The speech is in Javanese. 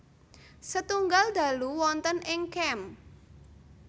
Setunggal dalu wonten ing camp